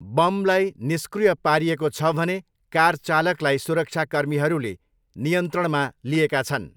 बमलाई निष्क्रिय पारिएको छ भने कार चालकलाई सुरक्षाकर्मीहरूले नियन्त्रणमा लिएका छन्।